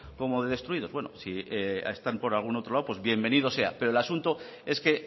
como de destruidos bueno si están por algún otro lado pues bienvenidos sea pero el asunto es que